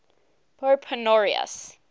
pope honorius